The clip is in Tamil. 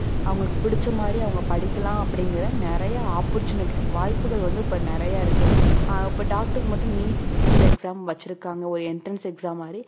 அவங்களுக்கு பிடிச்ச மாதிரி அவங்க படிக்கலாம் அப்படிங்கற நிறைய opportunities வாய்ப்புகள் வந்து இப்ப நிறைய இருக்கு அஹ் இப்ப doctor க்கு மட்டும் NEET exam வெச்சிருக்காங்க ஒரு entrance exam மாதிரி